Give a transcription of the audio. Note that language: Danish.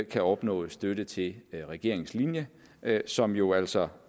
kan opnås støtte til regeringens linje som jo altså